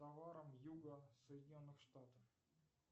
товарам юга соединенных штатов